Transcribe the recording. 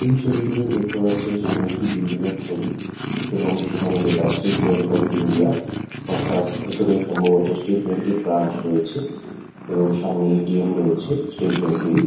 এই ছবিটিতে দেখতে পাচ্ছেন সামনে একটি বিল্ডিং এর ছবি এবং সেখানে লেখা স্টেট ব্যাঙ্ক অফ ইন্ডিয়া। অর্থাৎ ভিতরে সম্ভবত স্টেট ব্যাঙ্ক এর ব্রাঞ্চ রয়েছে এবং সামনে এ.টি.এম রয়েছে স্টেট ব্যাঙ্ক এরই।